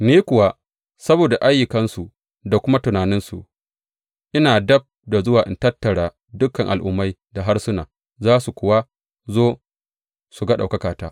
Ni kuwa, saboda ayyukansu da kuma tunaninsu, ina dab da zuwa in tattara dukan al’ummai da harsuna, za su kuma zo su ga ɗaukakata.